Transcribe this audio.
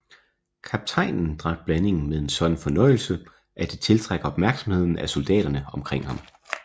Kaptajnen drak blandingen med en sådan fornøjelse at det tiltrak opmærksomheden af soldaterne omkring ham